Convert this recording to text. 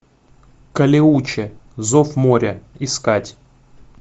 калеуче зов моря искать